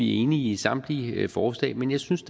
er enige i samtlige forslag men jeg synes